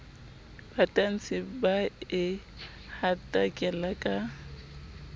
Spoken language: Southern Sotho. batantshi ba e hatakela ka